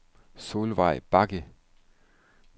Solveig Bagge